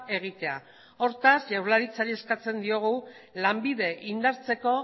egitea hortaz jaurlaritzari eskatzen diogu lanbide indartzeko